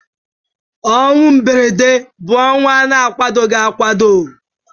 Ọnwụ mberede bụ ọnwụ a kwadoghi akwado.